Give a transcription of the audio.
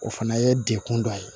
O fana ye dekun dɔ ye